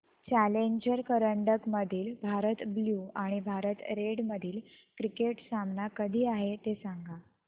challenger करंडक मधील Bharat blue आणि भारत रेड मधील क्रिकेट सामना कधी आहे ते सांगा